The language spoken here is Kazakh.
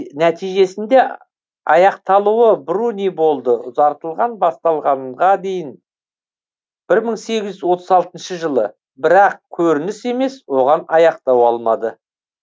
нәтижесінде аяқталуы бруни болды ұзартылған басталғанға дейін бір мың сегіз жүз отыз алтыншы жылы бірақ көрініс емес оған аяқтау алмады